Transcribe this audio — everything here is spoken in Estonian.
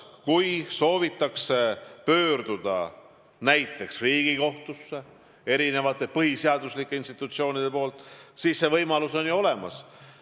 Kui mõni põhiseaduslik institutsioon soovib pöörduda näiteks Riigikohtusse, siis see võimalus on ju olemas.